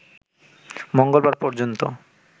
মঙ্গলবার পর্যন্ত